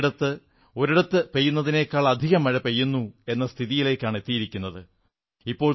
ചിലയിടത്ത് ഒരിടത്തു പെയ്യുന്നതിനേക്കാളധികം മഴ പെയ്യുന്നു എന്ന സ്ഥിതിയിലേക്കെത്തിയിരിക്കുയാണ് പ്രകൃതി